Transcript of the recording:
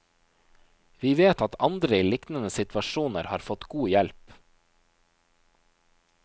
Vi vet at andre i liknende situasjoner har fått god hjelp.